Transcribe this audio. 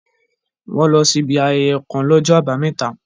Wọ́n lọ sí ibi ayẹyẹ kàn l'ọ́jọ́ àbámẹ́ta